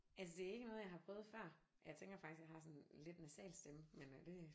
Altså det er ikke noget jeg har prøvet før. Jeg tænker faktisk jeg har sådan en lidt nasal stemme men øh det